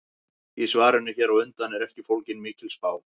Í svarinu hér á undan er ekki fólgin mikil spá.